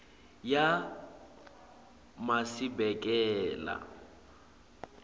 yemasibekela